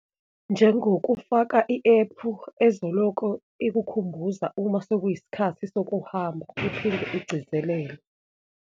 Njengokufaka i-ephu ezoloko ikukhumbuza uma sekuyisikhathi sokuhamba igcizelele.